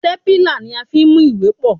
Stépìlà ni a fi ń mú ìwé pọ̀.